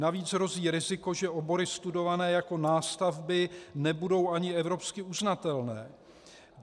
Navíc hrozí riziko, že obory studované jako nástavby nebudou ani evropsky uznatelné.